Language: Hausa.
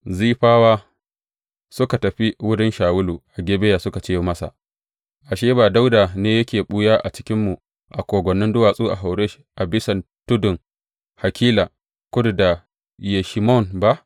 Zifawa suka tafi wurin Shawulu a Gibeya suka ce masa, Ashe, ba Dawuda ne yake ɓuya a cikinmu a kogwannin duwatsu a Horesh a bisan tudun Hakila, kudu da Yeshimon ba?